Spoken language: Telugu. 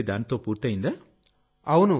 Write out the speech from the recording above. మీ పని దానితో పూర్తయిందా